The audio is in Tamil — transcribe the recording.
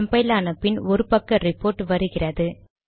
கம்பைல் ஆன பின் ஒரு பக்க ரிபோர்ட் வருகிறது